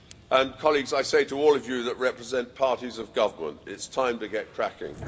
And colleagues, I say to all of you who represent parties of government it's time to get cracking.